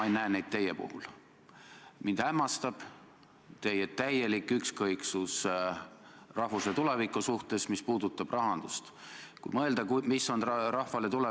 Enne Riigikokku saatmist vaatab Majandus- ja Kommunikatsiooniministeerium koos mõlema poolega ehk siis nii raudtee-ettevõtjatega kui ka puuetega inimeste kojaga selle pikendamist küsiva punkti sisu võimalused üle.